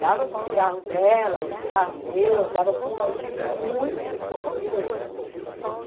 Dava para o cigarro dela, o cigarro meu, dava para um lanchinho, muito pouca coisa.